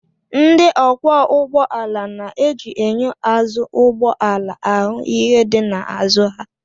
Ndị ọkwọ ụgbọala na-eji enyo azụ ụgbọ ala ahụ ihe dị n'azụ ha